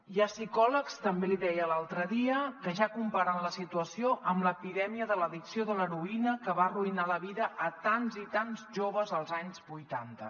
hi ha psicòlegs també l’hi deia l’altre dia que ja comparen la situació amb l’epidèmia de l’addicció a l’heroïna que va arruïnar la vida a tants i tants joves als anys vuitanta